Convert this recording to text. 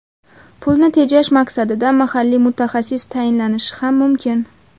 Pulni tejash maqsadida mahalliy mutaxassis tayinlanishi ham mumkin.